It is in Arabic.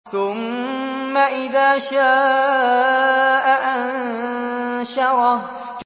ثُمَّ إِذَا شَاءَ أَنشَرَهُ